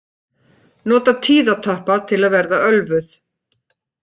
Nota tíðatappa til að verða ölvuð